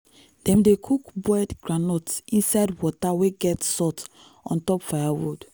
dem dey cook boiled groundnut inside water wey get salt on top firewood.